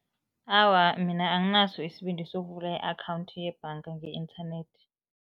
Awa, mina anginaso isibindi sokuvula i-akhawundi yebhanga nge-internet.